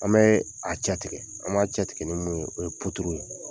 An bɛ a cɛtigɛ ,an b'a cɛtigɛ ni mun ye o ye ye.